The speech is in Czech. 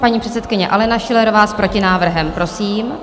Paní předsedkyně Alena Schillerová s protinávrhem, prosím.